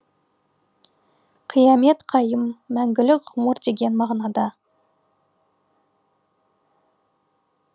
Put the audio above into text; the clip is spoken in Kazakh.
қиямет қайым мәңгілік ғұмыр деген мағынада